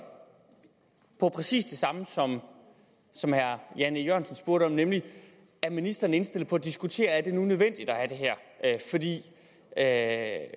om præcis det samme som som herre jan e jørgensen spurgte om nemlig er ministeren indstillet på at diskutere om det nu er nødvendigt at